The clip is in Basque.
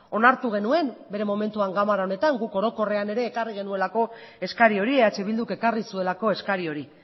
onartu genuen bere momentuan ganbara honetan guk orokorrean ere ekarri genuelako eskari hori eh bilduk ekarri zuelako eskari hori